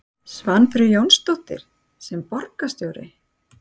Svanfríður Jónsdóttir: Sem borgarstjóri?